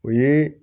O ye